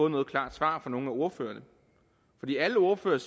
noget klart svar fra nogen af ordførerne fordi alle ordførerne